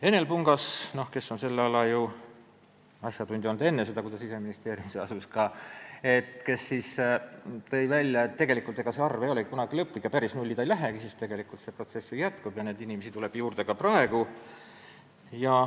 Enel Pungas, kes oli selle ala asjatundja juba enne seda, kui ta Siseministeeriumisse asus, tõi välja, et see arv ei ole kunagi lõplik ja ei lähegi päris nulli, sest see protsess ju jätkub ja neid inimesi tuleb juurde ka praegu.